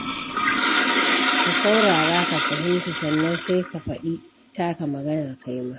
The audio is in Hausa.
Ka saurara, ka fahimta, sannan sai ka faɗi taka maganar kaima.